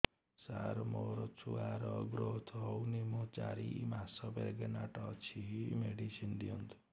ସାର ମୋର ଛୁଆ ର ଗ୍ରୋଥ ହଉନି ମୁ ଚାରି ମାସ ପ୍ରେଗନାଂଟ ଅଛି ମେଡିସିନ ଦିଅନ୍ତୁ